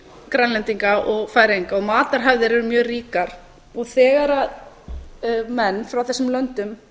grænlendinga og færeyinga og matarhefðir eru mjög ríkar þegar menn og konur frá þessum löndum